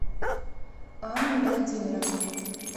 анну владимировну